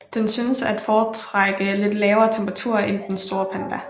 Den synes at foretrække lidt lavere temperaturer end den store panda